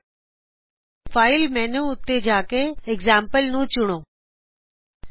file m menu file menu ਜੀਟੀ select examples select examples ਤੇ ਜਾਓ